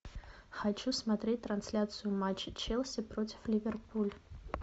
хочу смотреть трансляцию матча челси против ливерпуль